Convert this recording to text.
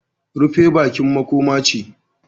Rufe bakin makoma ce